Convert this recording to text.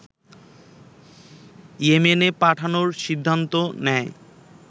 ইয়েমেনে পাঠানোর সিদ্ধান্ত নেয়